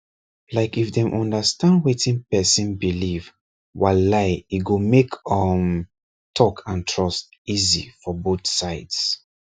like if dem understand wetin person believe walai e go make um talk and trust easy for both sides